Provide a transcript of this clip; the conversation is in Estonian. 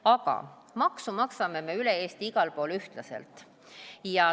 Aga makse maksame me üle Eesti igal pool ühtlaselt.